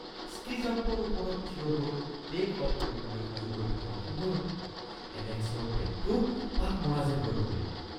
ski জাম্পৰ ওপৰত থিয় হৈ টে'ক অফ কৰিবলৈ সাজু হৈ থকাৰ সময়তে এলেক্সৰ পেটটো পাক মৰা যেন হৈ পৰিল